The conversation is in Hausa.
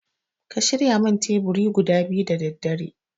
Ka shirya min teburi guda biyu da daddare